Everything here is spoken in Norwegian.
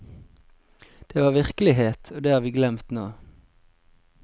Det var virkelighet, og det har vi glemt nå.